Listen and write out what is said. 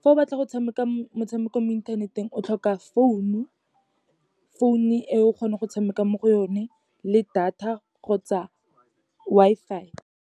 Fa o batla go tshameka motshameko mo inthaneteng, o tlhoka founu, founu e o kgone go tshameka mo go one le data, kgotsa Wi-Fi.